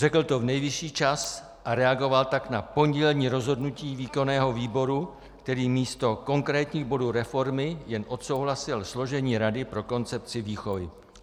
Řekl to v nejvyšší čas a reagoval tak na pondělní rozhodnutí výkonného výboru, který místo konkrétních bodů reformy jen odsouhlasil složení rady pro koncepci výchovy.